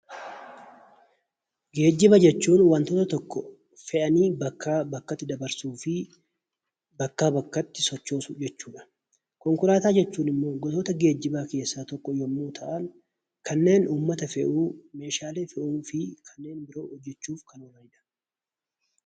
Geejjiba jechuun wantoota tokko fe'anii bakkaa bakkatti dabarsuu fi bakkaa bakkatti sochoosuu jechuudha. Konkolaataa jechuun immoo gosoota geejjibaa keessaa tokko yommuu ta'an, kanneen uummata fe'uu, meeshaalee fe'uu fi kanneen biroo hojjechuuf kan oolanidha.